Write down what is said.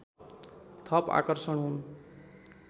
थप आकर्षण हुन्